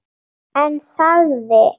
En þagði.